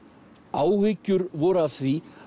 áhyggjur voru af því